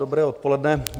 Dobré odpoledne.